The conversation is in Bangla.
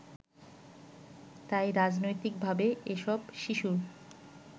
তাই রাজনৈতিকভাবে এসব শিশুর